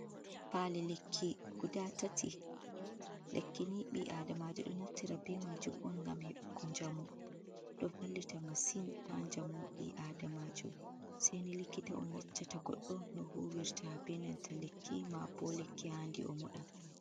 Pali lekki guda tati, lekkini ɓi adamajo ɗo nafti be majum on ngam heɓuko njamu, ɗo vallita masin ha njamu ɓi adamajo, sei ni likita on yeccata godɗo no huwirta benanta lekki ma bo lekki handi o moɗa.